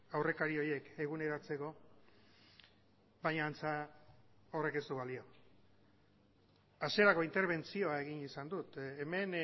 aurrekari horiek eguneratzeko baina antza horrek ez du balio hasierako interbentzioa egin izan dut hemen